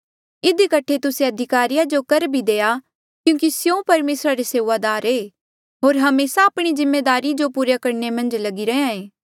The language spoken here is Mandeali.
इधी कठे तुस्से अधिकारिया जो कर भी देआ क्यूंकि स्यों परमेसरा रे सेऊआदार ऐें होर हमेसा आपणी जिम्मेदारी जो पूरा करणे मन्झ लगिरे रैंहयां ऐें